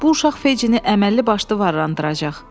Bu uşaq Fejini əməlli başlı varlandıracaq.